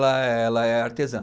Ela é, ela é artesã